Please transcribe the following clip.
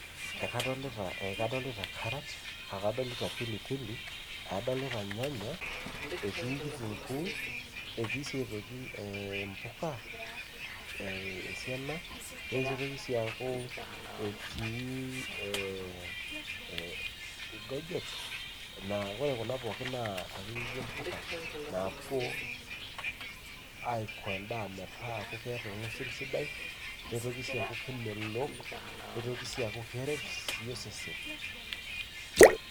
ekadolita karat adolita pilipili adolita ilnyanya, etii kitunkuu etii sii aitoki impuka esiana nitoki sii aaku, etii engujit, naa ore kuna pooki akeyie naa impuka naa puo aiko edaa metaaku keeta olngusil sidai nitoki sii aku kemelok, nitoki sii aku keret osesen.